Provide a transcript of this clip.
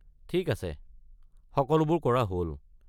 ঠিক আছে, সকলোবোৰ কৰা হ'ল।